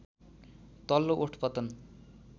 तल्लो ओठ पतन